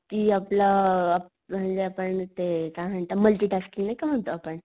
कि आपला म्हणजे आपण ते काय म्हणता मल्टि टास्किंग नाही का म्हणतो आपण.